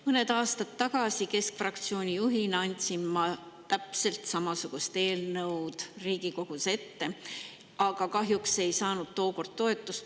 Mõned aastad tagasi kandsin ma keskfraktsiooni juhina täpselt samasugust eelnõu Riigikogus ette, aga kahjuks ei saanud sellele tookord toetust.